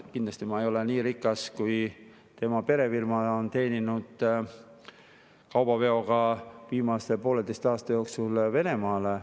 Kindlasti ma ei ole nii rikas, kui palju tema perefirma on viimase pooleteise aasta jooksul teeninud kaubaveoga Venemaale.